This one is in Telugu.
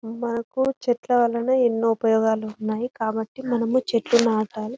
మనకు చెట్ల వలనే ఎన్నో ఉపయోగాలు ఉన్నాయి కాబట్టి మనము చెట్లు నాటాలి.